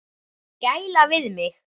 Gæla við mig.